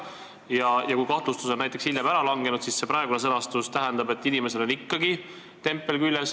Ja teiseks, kui ka kahtlustus on hiljem ära langenud, siis praeguse sõnastuse kohaselt inimesel on ikkagi tempel küljes.